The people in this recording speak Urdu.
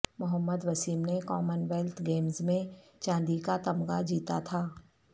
محمد وسیم نے کامن ویلتھ گیمز میں چاندی کا تمغہ جیتا تھا